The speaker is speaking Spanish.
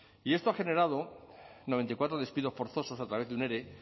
y esto ha generado noventa y cuatro despidos forzosos a través de un ere